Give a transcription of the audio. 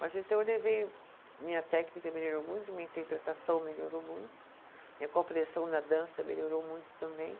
Mas então eu levei, minha técnica melhorou muito, minha interpretação melhorou muito, minha compreensão da dança melhorou muito também.